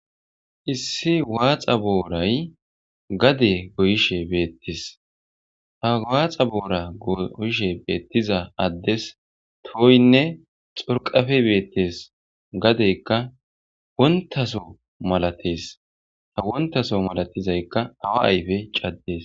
Issi waaxa booray gade goyishe beettes ha waaxa boora gooyishe beettiza addes tooynne xorqafe beettes gadeykka wontaso malatees ha wontaso malatizaykka awa ayfe caddees.